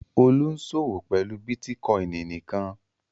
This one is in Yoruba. Olú ń ṣòwò pẹ̀lú bítíkọ́ìn nìkan